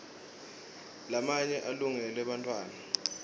lamanye alungele bantfwana